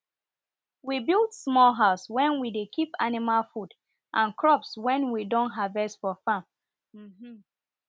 we build small house wen we dey keep animal food and crops wen we don harvest for farm um